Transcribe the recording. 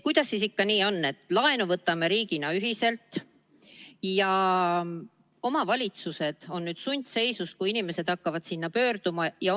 Kuidas siis ikkagi nii on, et laenu võtame riigina ühiselt ja omavalitsused on nüüd sundseisus, kui inimesed hakkavad sinna pöörduma?